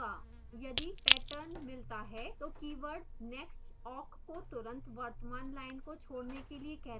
यदि pattern मिलता है तो कीवर्ड next awk को तुरंत वर्तमान line को छोड़ने के लिए कहता है